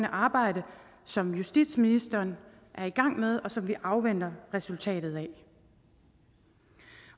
arbejde som justitsministeren er i gang med og som vi afventer resultatet af